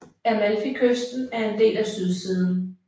Amalfikysten er en del af sydsiden